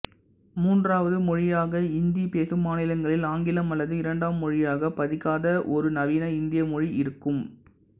மூன்றாவது மொழியாக இந்தி பேசும் மாநிலங்களில் ஆங்கிலம் அல்லது இரண்டாம் மொழியாகப் படிக்காத ஒரு நவீன இந்திய மொழி இருக்கும்